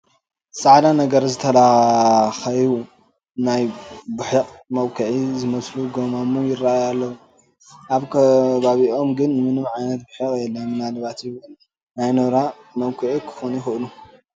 ፃዕዳ ነገር ዝታለካኸዩ ናይ ቡሒቕ መብኩዒ ዝመስሉ ጐማሙ ይርአዩ ኣለዉ፡፡ ኣብ ከባቢኦም ግን ምንም ዓይነት ቡሒቕ የለን፡፡ ምናልባት ውን ግን ናይ ኖራ መብኩዒ ክኾኑ ይኽእሉ እዮም፡፡